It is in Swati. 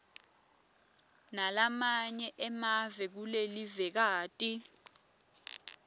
nalamanye emave kulelivekati